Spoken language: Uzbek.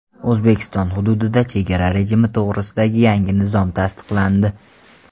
O‘zbekiston hududida chegara rejimi to‘g‘risidagi yangi nizom tasdiqlandi.